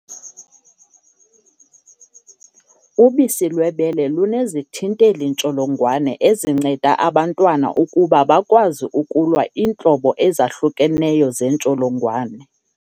Ubisi lwebele lunezithinteli-ntsholongwane ezinceda abantwana ukuba bakwazi ukulwa iintlobo ezahlukeneyo zentsholongwane.